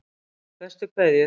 Bestu kveðjur